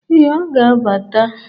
Ee, ọ ga-abata.